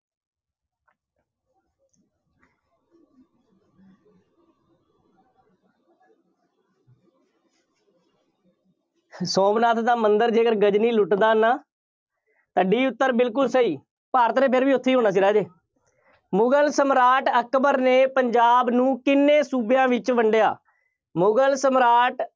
ਸੋਮਨਾਥ ਦਾ ਮੰਦਿਰ ਜੇਕਰ ਗਜ਼ਨਵੀ ਲੁੱਟਦਾ ਨਾ ਤਾਂ D ਉੱਤਰ ਬਿਲਕੁੱਲ ਸਹੀ। ਭਾਰਤ ਨੇ ਫਿਰ ਵੀ ਉੱਥੇ ਹੀ ਹੋਣਾ ਸੀ, ਰਾਜੇ ਮੁਗਲ ਸਮਰਾਟ ਅਕਬਰ ਨੇ ਪੰਜਾਬ ਨੂੰ ਕਿੰਨ੍ਹੇ ਸੂਬਿਆਂ ਵਿੱਚ ਵੰਡਿਆ। ਮੁਗਲ ਸਮਰਾਟ